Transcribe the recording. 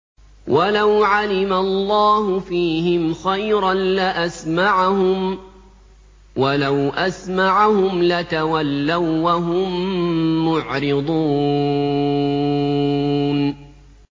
وَلَوْ عَلِمَ اللَّهُ فِيهِمْ خَيْرًا لَّأَسْمَعَهُمْ ۖ وَلَوْ أَسْمَعَهُمْ لَتَوَلَّوا وَّهُم مُّعْرِضُونَ